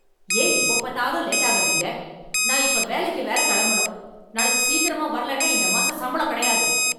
ஏன் எப்பப் பாத்தாலும் லேட்டா வர்றீங்க? நான் இப்ப வேலைக்கு வேற கெளம்பணும்! நாளைக்கு சீக்கிரமா வர்லெனா இந்த மாசம் சம்பளம் கிடையாது.